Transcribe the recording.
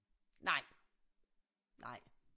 Nej nej